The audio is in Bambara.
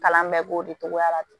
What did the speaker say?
Kalan bɛɛ b'o de tɔgɔ la ten